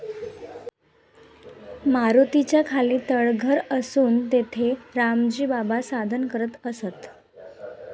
मारुतीच्या खाली तळघर असून तेथे रामजी बाबा साधना करत असत.